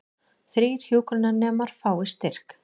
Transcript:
Þrír hjúkrunarnemar fá styrki